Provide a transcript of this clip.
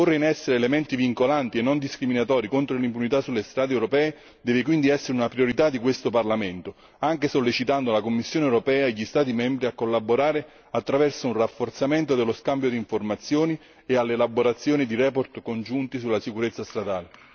Porre in essere elementi vincolanti e non discriminatori contro l'impunità sulle strade europee deve quindi essere una priorità di questo Parlamento, anche sollecitando la Commissione europea e gli Stati membri a collaborare attraverso un rafforzamento dello scambio di informazioni e l'elaborazione di relazioni congiunte sulla sicurezza stradale.